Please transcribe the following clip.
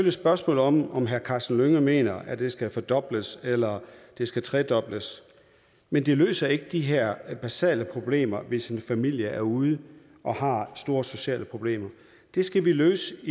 et spørgsmål om om herre karsten hønge mener at det skal fordobles eller det skal tredobles men det løser ikke de her basale problemer hvis en familie er ude og har store sociale problemer det skal vi løse